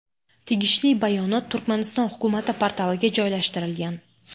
Tegishli bayonot Turkmaniston hukumati portaliga joylashtirilgan .